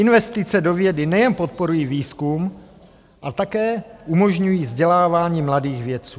Investice do vědy nejen podporují výzkum, ale také umožňují vzdělávání mladých vědců.